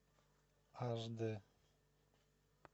аш дэ